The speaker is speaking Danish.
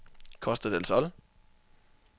Costa del Sol